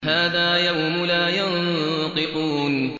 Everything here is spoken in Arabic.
هَٰذَا يَوْمُ لَا يَنطِقُونَ